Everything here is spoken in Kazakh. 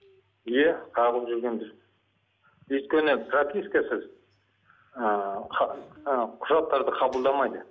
иә қағылып жүргенбіз өйткені пропискасыз ыыы ы құжаттарды қабылдамайды